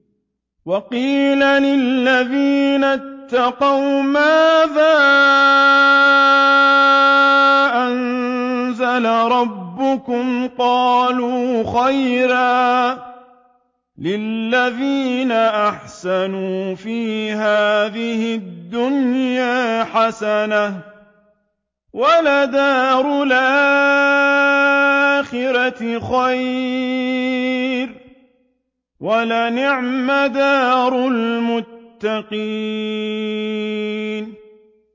۞ وَقِيلَ لِلَّذِينَ اتَّقَوْا مَاذَا أَنزَلَ رَبُّكُمْ ۚ قَالُوا خَيْرًا ۗ لِّلَّذِينَ أَحْسَنُوا فِي هَٰذِهِ الدُّنْيَا حَسَنَةٌ ۚ وَلَدَارُ الْآخِرَةِ خَيْرٌ ۚ وَلَنِعْمَ دَارُ الْمُتَّقِينَ